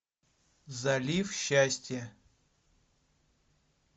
залив счастья